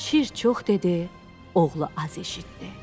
Şir çox dedi, oğlu az eşitdi.